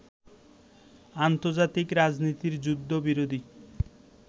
আন্তর্জাতিক রাজনীতির যুদ্ধবিরোধী